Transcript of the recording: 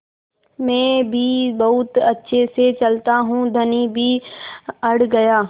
मैं भी बहुत अच्छे से चलता हूँ धनी भी अड़ गया